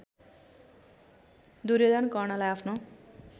दुर्योधन कर्णलाई आफ्नो